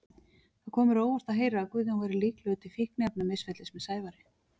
Það kom mér á óvart að heyra að Guðjón væri líklegur til fíkniefnamisferlis með Sævari.